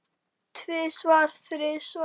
Tvisvar, þrisvar?